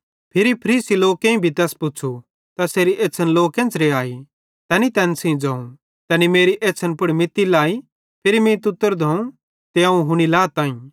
फिरी फरीसी लोकेईं भी तैस पुच़्छ़ू तैसेरी एछ़्छ़न लो केन्च़रे आई तैनी तैन सेइं ज़ोवं तैनी मेरी एछ़्छ़न पुड़ मित्ती लाई फिरी मीं तुत्तर धोवं ते अवं हुनी लाताईं